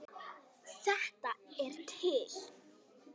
Þetta er til.